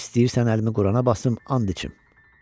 İstəyirsən əlimi Qurana basım, and içim.